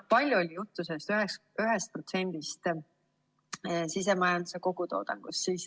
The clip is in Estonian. Palju oli juttu sellest 1%‑st sisemajanduse kogutoodangust.